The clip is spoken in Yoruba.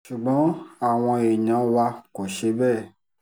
ṣùgbọ́n àwọn èèyàn wa kò ṣe bẹ́ẹ̀